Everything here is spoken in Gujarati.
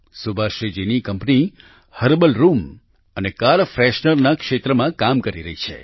સુભાશ્રી જીની કંપની હર્બલ રૂમ અને કાર ફ્રેશનર ના ક્ષેત્રમાં કામ કરી રહી છે